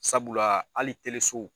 Sabula hali